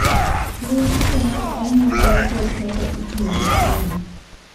Luw chike mag anyuolau kod kaka itiyo gi chiemo.